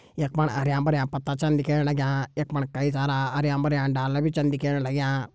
यख फण हरयां भरयां पत्ता छन दिखेण लग्यां यख फण कई सारा हरयां भरयां डाला भी छन दिखेण लग्यां।